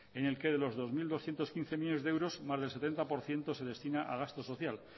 en el que de los dos mil doscientos quince millónes de euros más del setenta por ciento se destina a gasto social